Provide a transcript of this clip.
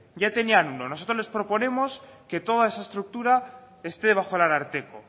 ya tenían uno nosotros les proponemos que toda esa estructura esté bajo el ararteko